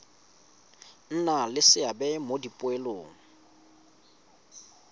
nna le seabe mo dipoelong